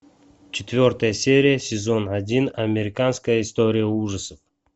четвертая серия сезон один американская история ужасов